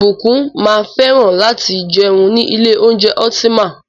Ìbùkún máa fẹ́ràn láti jẹun ní ilé oúnjẹ Ultima.